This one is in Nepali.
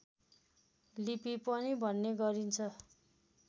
लिपि पनि भन्ने गरिन्छ